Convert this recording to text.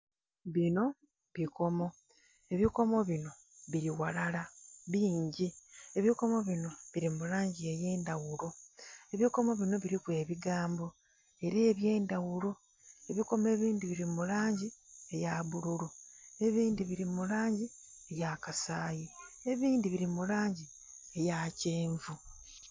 Binho bukomo ebikomo binho bili ghalala bingi ebikomo binho bili mu langi eyendhaghulo, ebikmo binho biliku ebigambo era ebyendhaghulo ebikomo ebindhi bili mu langi eya bbululu, ebindhi bili mu langi eya kasayi, ebindhi bili mulangi eya kyenvu.